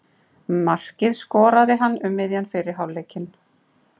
Markið skoraði hann um miðjan fyrri hálfleikinn.